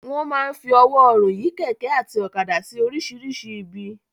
Wọ́n máa ń fi ọwọ́ ọrùn yí kẹ̀kẹ́ àti ọ̀kadà sí oríṣìíríṣìí ibi.